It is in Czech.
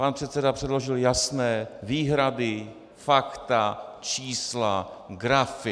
Pan předseda předložil jasné výhrady, fakta, čísla, grafy.